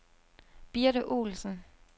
Birte Olsen